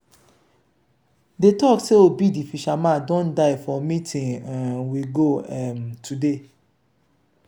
dey talk say obi the fisherman don die for meeting um we go um today